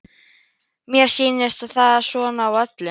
Mér sýnist það svona á öllu.